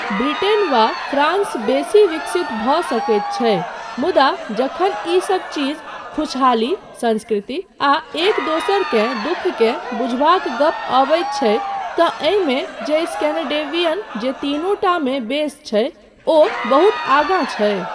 Britain वा France बेसी विकसित भऽ सकैत छै मुदा जखन ई सब चीज खुशहाली, संस्कृति आ एक दोसरकेँ दुःखकेँ बुझबाक गप अबैत छै तँ एहिमे जे स्केनेडेवियन जे तीनूटा मे बेस छै, ओ बहुत आगाँ छै।